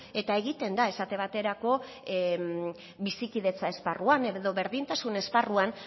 eta egiten da esate baterako bizikidetza esparruan edo berdintasun esparruan